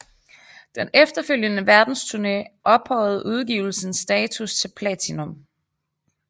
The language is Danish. Den efterfølgende verdensturné ophøjede udgivelsens status til platinum